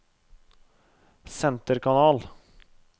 senterkanal